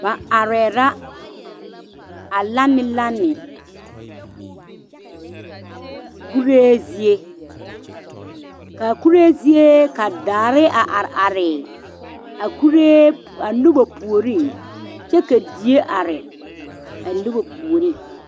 Ba arɛɛ la a lanelane kuree zie ka a kuree zie ka daare are are a noba puoriŋ kyɛ ka die are a noba puoriŋ.